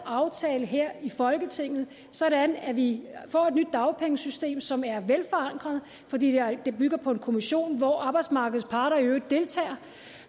aftale her i folketinget sådan at vi får et nyt dagpengesystem som er velforankret fordi det bygger på en kommission hvor arbejdsmarkedets parter i øvrigt deltager